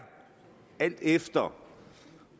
alt efter